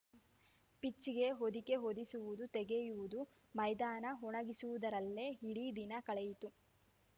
ಪಿಚ್‌ಗೆ ಹೊದಿಕೆ ಹೊದಿಸುವುದು ತೆಗೆಯುವುದು ಮೈದಾನ ಒಣಗಿಸುವುದರಲ್ಲೇ ಇಡೀ ದಿನ ಕಳೆಯಿತು